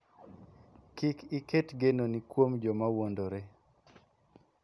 Kik iket genoni kuom joma wuondore.